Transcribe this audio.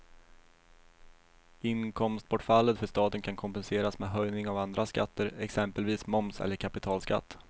Inkomstbortfallet för staten kan kompenseras med höjning av andra skatter, exempelvis moms eller kapitalskatt.